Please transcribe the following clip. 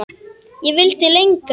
Ég vildi lengra.